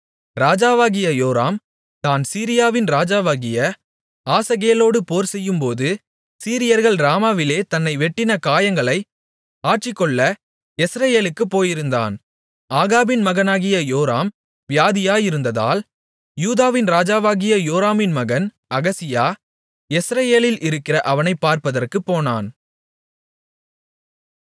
ராஜாவாகிய யோராம் தான் சீரியாவின் ராஜாவாகிய ஆசகேலோடு போர்செய்யும்போது சீரியர்கள் ராமாவிலே தன்னை வெட்டின காயங்களை ஆற்றிக்கொள்ள யெஸ்ரயேலுக்குப் போயிருந்தான் ஆகாபின் மகனாகிய யோராம் வியாதியாயிருந்ததால் யூதாவின் ராஜாவாகிய யோராமின் மகன் அகசியா யெஸ்ரயேலில் இருக்கிற அவனைப் பார்ப்பதற்குப் போனான்